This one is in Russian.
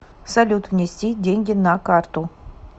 салют внести деньги на карту